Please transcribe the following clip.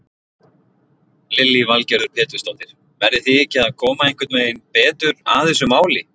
Lillý Valgerður Pétursdóttir: Verðið þið ekki að koma einhvern veginn betur að þessu máli?